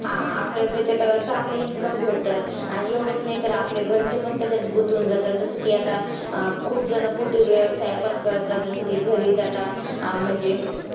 हा आपल्याला तेच्यात चांगले income भेटतं, आणि एवढंच नाही तर आपले घरचे पण त्याच्यात गुतून जातात. जसं की आता अं खुपजण व्यवसाय पण करतात, जसं की घरीच आता अं म्हणजे